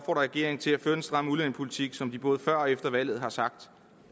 regeringen til at føre den stramme udlændingepolitik som de både før og efter valget har sagt